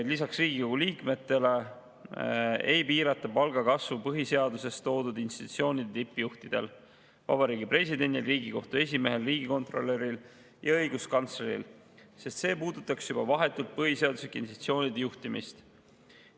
Lisaks Riigikogu liikmetele ei piirata palgakasvu põhiseaduses toodud institutsioonide tippjuhtidel: Vabariigi Presidendil, Riigikohtu esimehel, riigikontrolöril ja õiguskantsleril, sest see puudutaks juba vahetult põhiseaduslike institutsioonide juhtimist.